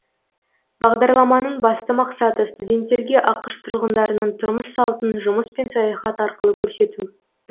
бағдарламаның басты мақсаты студенттерге ақш тұрғындарының тұрмыс салтын жұмыс пен саяхат арқылы көрсету